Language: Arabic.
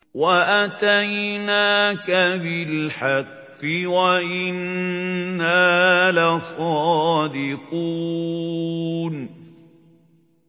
وَأَتَيْنَاكَ بِالْحَقِّ وَإِنَّا لَصَادِقُونَ